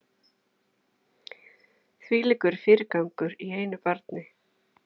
Þvílíkur fyrirgangur í einu barni